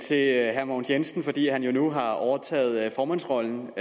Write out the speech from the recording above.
til herre mogens jensen fordi han jo nu har overtaget formandsrollen